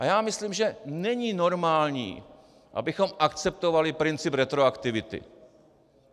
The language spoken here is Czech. A já myslím, že není normální, abychom akceptovali princip retroaktivity.